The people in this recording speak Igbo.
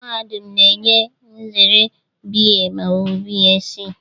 Mahadum na-enye nzere BA ma ọ bụ BSc.